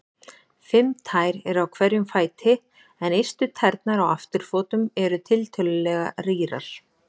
Fimm tær eru á hverjum fæti en ystu tærnar á afturfótum eru tiltölulega rýrar.